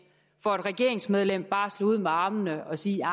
for et regeringsmedlem bare at slå ud med armene og sige